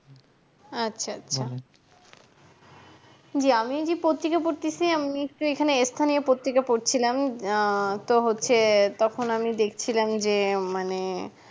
আচ্ছা আচ্ছা জি আমি এইজি পত্রিকা পড়তেছি আমি এখানে স্থানীয় পত্রিকা পড়ছিলাম আহ তো হচ্ছে তখন আমি দেখছিলাম যে মানে